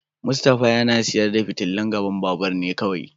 Mustapha yana sayar da fitilun gaban babur ne kawai.